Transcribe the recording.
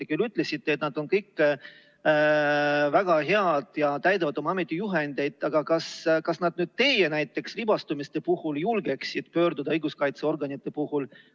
Te küll ütlesite, et ametnikud on kõik väga head ja täidavad oma ametijuhendit, aga kas nad nüüd teie näiteks libastumiste puhul julgeksid pöörduda õiguskaitseorganite poole?